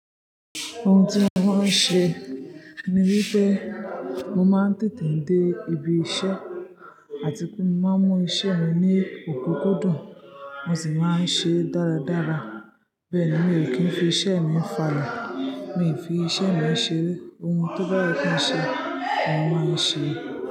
Ohun tí mo máa ń ṣe ni wípé mo máa ń tètè dé ibi iṣẹ́ àti pé mo máa ń mú iṣẹ́ mi ní òkúkú dùn, mo sì máa ń ṣe é dáradára. Bẹ́ẹ̀ ni, mi ò kí ń fi iṣẹ́ mi fàle, mi ò ń fi iṣẹ́ mi ṣeré. Ohun tó báye kí n ṣe, mo máa ń ṣe é.